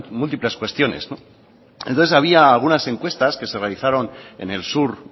múltiples cuestiones entonces había algunas encuestas que se realizaron en el sur